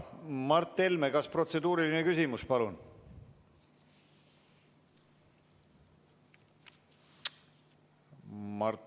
Mart Helme, kas protseduuriline küsimus, palun?